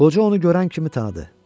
Qoca onu görən kimi tanıdı.